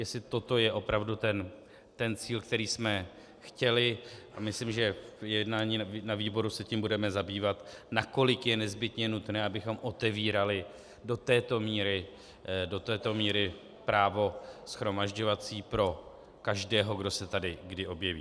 Jestli toto je opravdu ten cíl, který jsme chtěli, a myslím, že v jednání na výboru se tím budeme zabývat, nakolik je nezbytně nutné, abychom otevírali do této míry právo shromažďovací pro každého, kdo se tady kdy objeví.